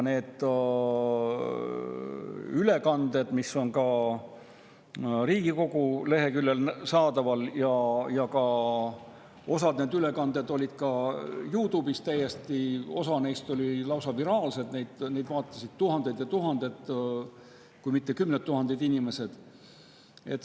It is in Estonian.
Nendest ülekannetest, mis on ka Riigikogu leheküljel saadaval ja millest osa olid ka YouTube'is, olid osa lausa viraalsed, neid vaatasid tuhanded ja tuhanded, kui mitte kümned tuhanded inimesed.